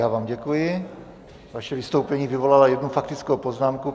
Já vám děkuji, vaše vystoupení vyvolalo jednu faktickou poznámku.